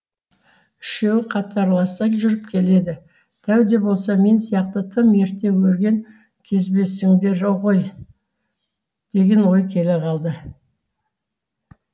үшеуі қатарласа жүріп келеді дәу де болса мен сияқты тым ерте өрген кезбесіңдер ғой деген ой келе қалды